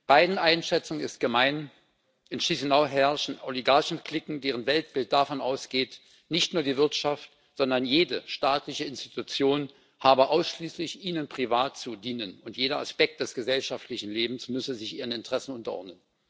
Beiden Einschätzungen ist gemein In Chișinău herrschen Oligarchen Cliquen, deren Weltbild davon ausgeht, nicht nur die Wirtschaft, sondern jede staatliche Institution habe ausschließlich ihnen privat zu dienen, und jeder Aspekt des gesellschaftlichen Lebens müsse sich ihren Interessen unterordnen.